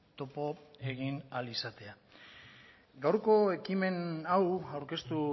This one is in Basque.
topo egin ahal izatea gaurko ekimen hau aurkeztu